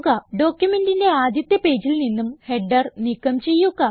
ഡോക്യുമെന്റിന്റെ ആദ്യത്തെ പേജിൽ നിന്നും ഹെഡർ നീക്കം ചെയ്യുക